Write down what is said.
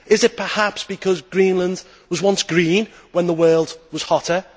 Is it perhaps because Greenland was once green when the world was hotter?